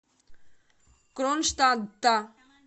кронштадта